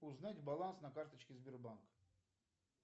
узнать баланс на карточке сбербанка